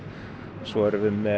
svo erum við með